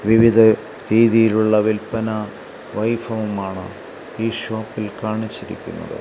വിവിധ രീതിയിലുള്ള വിൽപ്പനാ വൈഭവമാണ് ഈ ഷോപ്പിൽ കാണിച്ചിരിക്കുന്നത്.